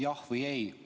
Jah või ei?